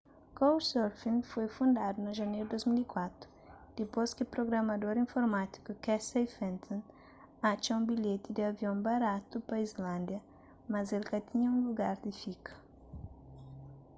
couchsurfing foi fundadu na janeru di 2004 dipôs ki prugramador informátiku casey fenton atxa un bilheti di avion baratu pa islândia mas el ka tinha un lugar di fika